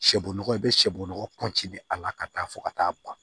Sɛbolo i bɛ sɔbɔgɔ a la ka taa fo ka taa ban